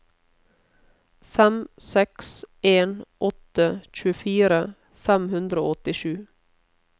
fem seks en åtte tjuefire fem hundre og åttisju